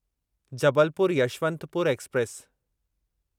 Jabalpur Yesvantpur express